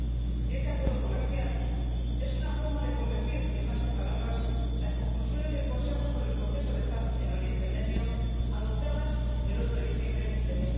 Y este acuerdo comercial es una forma de convertir en más que palabras las conclusiones del Consejo sobre el proceso de paz en Oriente Medio, adoptadas el 8 de diciembre de